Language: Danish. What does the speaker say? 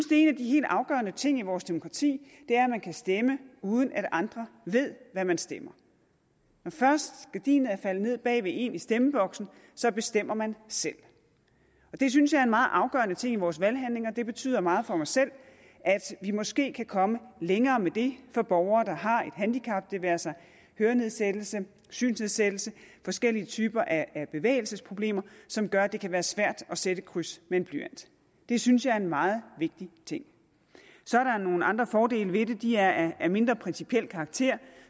de helt afgørende ting i vores demokrati er at man kan stemme uden at andre ved hvad man stemmer når først gardinet er faldet ned bag ved en i stemmeboksen så bestemmer man selv det synes jeg meget afgørende ting i vores valghandling og det betyder meget for mig selv at vi måske kan komme længere med det for borgere der har et handicap det være sig hørenedsættelse synsnedsættelse forskellige typer af bevægelsesproblemer som gør at det kan være svært at sætte et kryds med en blyant det synes jeg er en meget vigtig ting så er der nogle andre fordele ved det de er af mindre principiel karakter